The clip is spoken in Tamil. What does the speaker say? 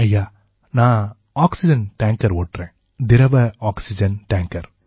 ஐயா நான் ஆக்சிஜன் டேங்கர் ஓட்டறேன் திரவ ஆக்சிஜன் டேங்கர்